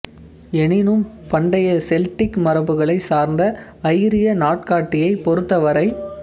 எனினும் பண்டைய செல்டிக் மரபுகளைச் சார்ந்த ஐரிய நாட்காட்டியைப் பொறுத்தவரை